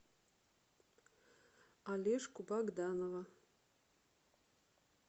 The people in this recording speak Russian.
олежку богданова